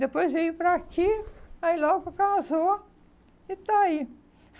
Depois veio para aqui, aí logo casou e está aí.